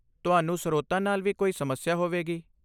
ਤੁਹਾਨੂੰ ਸਰੋਤਾਂ ਨਾਲ ਵੀ ਕੋਈ ਸਮੱਸਿਆ ਹੋਵੇਗੀ।